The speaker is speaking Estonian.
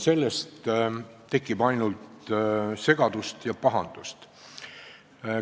Sellest tekib ainult segadust ja pahandust.